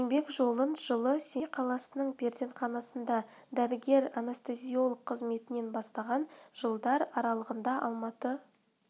еңбек жолын жылы семей қаласының перзентханасында дәрігер-анестезиолог қызметінен бастаған жылдар аралағында алматы қаласындадәрігер ғылыми қызметкер гемодиализ